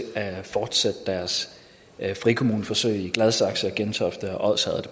at fortsætte deres frikommuneforsøg i gladsaxe gentofte og odsherred